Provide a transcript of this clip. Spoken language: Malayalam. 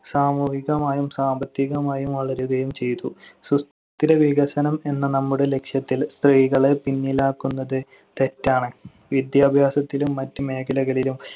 സാമൂഹികമായും സാമ്പത്തികമായും വളരുകയും ചെയ്തു. സുസ്ഥിര വികസനം എന്ന നമ്മുടെ ലക്ഷ്യത്തിൽ സ്ത്രീകളെ പിന്നിലാക്കുന്നത് തെറ്റാണ്. വിദ്യാഭ്യാസത്തിലും മറ്റ് മേഖലകളിലും